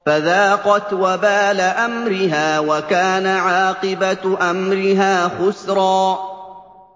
فَذَاقَتْ وَبَالَ أَمْرِهَا وَكَانَ عَاقِبَةُ أَمْرِهَا خُسْرًا